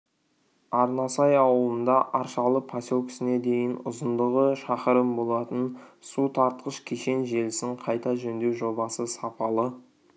арнасай ауылында аршалы поселкесіне дейін ұзындығы шақырым болатын су тартқыш кешен желісін қайта жөндеу жобасы сапалы